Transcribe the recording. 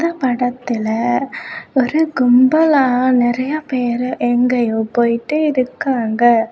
இந்த படத்துல ஒரு கும்பலா நெறைய பேரு எங்கயோ போயிட்டு இருக்காங்க.